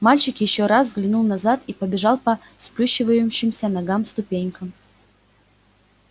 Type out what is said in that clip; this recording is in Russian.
мальчик ещё раз взглянул назад и побежал по сплющивающимся ногам ступенькам